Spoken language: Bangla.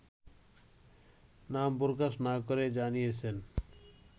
নাম প্রকাশ না করে জানিয়েছেন